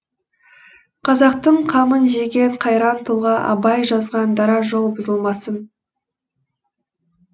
қазақтың қамын жеген қайран тұлға абай жазған дара жол бұзылмасын